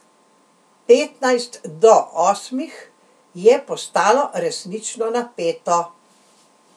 Petnajst do osmih je postalo resnično napeto.